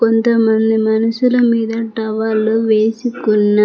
కొంతమంది మనుషుల మీద టవల్లు వేసుకున్న --